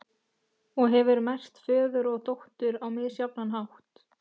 Og hefur merkt föður og dóttur á misjafnan hátt.